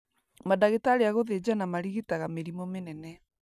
Mandagĩtarĩ a gũthĩnjana marigitaga mĩrimũ mĩnene